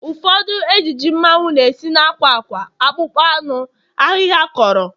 Ụfọdụ ejiji mmanwu na-esi na akwa akwa, akpụkpọ anụ, ahịhịa akọrọ wdg